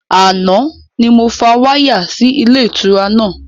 Àná ni mo fa wáyà sì ilé ìtura náà